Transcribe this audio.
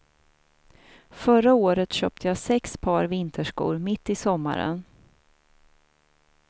Förra året köpte jag sex par vinterskor mitt i sommaren.